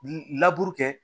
Laburu kɛ